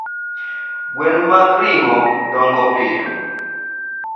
gwen mag ringo dongo piyo